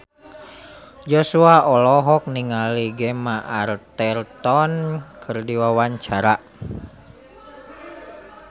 Joshua olohok ningali Gemma Arterton keur diwawancara